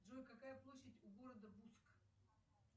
джой какая площадь у города буск